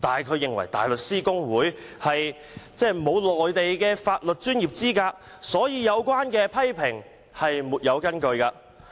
他認為大律師公會沒有內地法律專業資格，所以有關批評沒有根據。